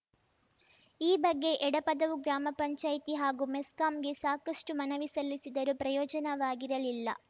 ಈ ಬಗ್ಗೆ ಎಡಪದವು ಗ್ರಾಮ ಪಂಚಾಯತಿ ಹಾಗೂ ಮೆಸ್ಕಾಂಗೆ ಸಾಕಷ್ಟುಮನವಿ ಸಲ್ಲಿಸಿದರೂ ಪ್ರಯೋಜನವಾಗಿರಲಿಲ್ಲ